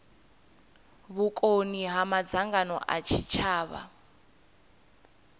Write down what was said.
vhukoni ha madzangano a tshitshavha